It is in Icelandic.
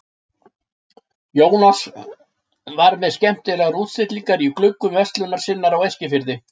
Jónas var með skemmtilegar útstillingar í gluggum verslunar sinnar á Eskifirði.